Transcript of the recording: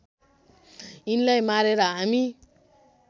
यिनलाई मारेर हामी